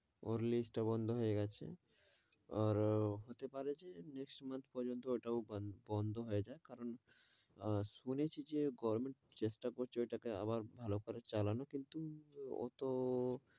টা বন্ড হয়ে গেছে আরে হতে পারে যে next month পর্যন্ত ওটাও বন্ড হয়ে যাক, কারণ শুনেছি যে গভর্নমেন্ট চেষ্টা করছে ওটা কে আরও ভালো করে চালানোর, কিন্তু ওতো,